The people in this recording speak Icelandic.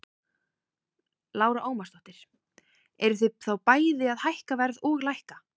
Lára Ómarsdóttir: Eruð þið þá bæði að hækka verð og lækka?